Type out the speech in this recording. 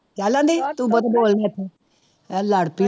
ਚੱਲ ਨੀ ਤੂੰ ਬਹੁਤਾ ਬੋਲ ਨਾ ਇੱਥੇ, ਹੈਂ ਲੜ ਪਈ